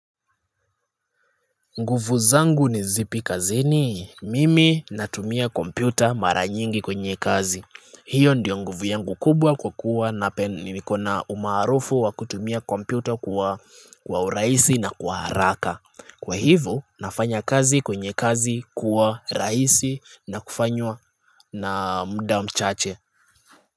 Nguvu zangu ni zipi kazini? Mimi natumia kompyuta mara nyingi kwenye kazi. Hiyo ndiyo nguvu yangu kubwa kwa kuwa na nikona umaarufu wa kutumia kompyuta kwa urahisi na kwa haraka. Kwa hivo nafanya kazi kwenye kazi kuwa rahisi na kufanywa na muda mchache.